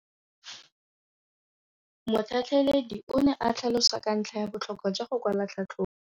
Motlhatlheledi o ne a tlhalosa ka ntlha ya botlhokwa jwa go kwala tlhatlhôbô.